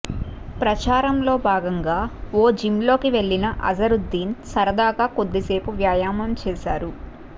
ప్రచారంలో భాగంగా ఓ జిమ్లోకి వెళ్లిన అసదుద్దీన్ సరదాగా కొద్దిసేపు వ్యాయామం చేశారు